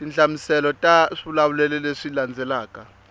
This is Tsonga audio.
tinhlamuselo ta swivulavulelo leswi landzelaka